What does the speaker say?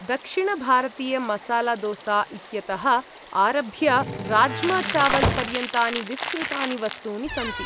दक्षिणभारतीयमसालादोसा इत्यतः आरभ्य, राज्माचावल् पर्यन्तानि विस्तृतानि वस्तूनि सन्ति।